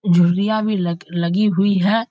झुरियाँ भी लगलगी हुई है ।